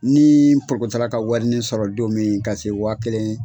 Ni ka warinin sɔrɔ don min ka se waa kelen.